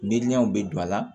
Miiriyaw be don a la